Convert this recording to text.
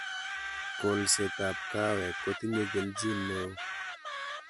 kolsetab kaawek kotinyei kelchin neoo